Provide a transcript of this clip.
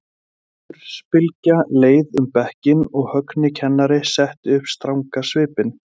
Hlátursbylgja leið um bekkinn og Högni kennari setti upp stranga svipinn.